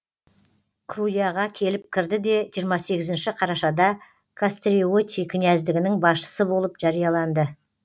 круяға келіп кірді де жиырма сегізінші қарашада кастриоти князьдігінің басшысы болып жарияланды